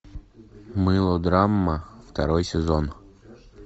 мылодрама второй сезон